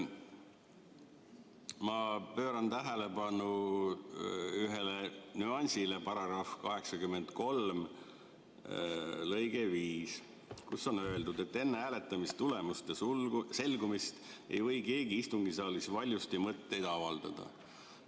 Ma juhin tähelepanu ühele nüansile, § 83 lõikele 5, kus on öeldud, et enne hääletamistulemuste selgumist ei või keegi istungisaalis valjusti mõtteid avaldada.